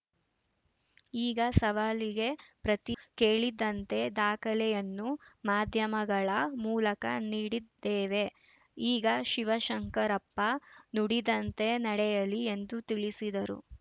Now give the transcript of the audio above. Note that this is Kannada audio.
ಈಗ ಸವಾಲಿಗೆ ಪ್ರತಿ ಕೇಳಿದ್ದಂತೆ ದಾಖಲೆಯನ್ನೂ ಮಾಧ್ಯಮಗಳ ಮೂಲಕ ನೀಡಿದ್ದೇವೆ ಈಗ ಶಿವಶಂಕರಪ್ಪ ನುಡಿದಂತೆ ನಡೆಯಲಿ ಎಂದು ತಿಳಿಸಿದರು